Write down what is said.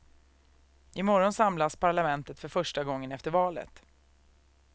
I morgon samlas parlamentet för första gången efter valet.